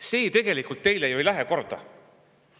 See tegelikult ei lähe teile ju korda!